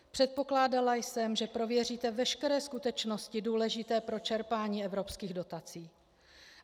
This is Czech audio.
Předpokládala jsem, že prověříte veškeré skutečnosti důležité pro čerpání evropských dotací.